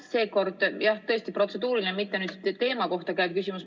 Seekord on mul, jah, tõesti protseduuriline, mitte teema kohta käiv küsimus.